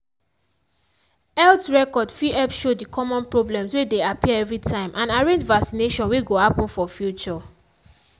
health record fit help show the common problems way they appear every time and arrange vaccination way go happen for future.